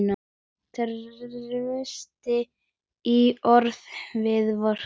Traust í orði og verki.